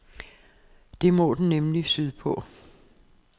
Det må den nemlig sydpå.